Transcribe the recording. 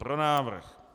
Pro návrh.